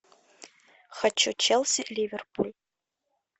хочу челси ливерпуль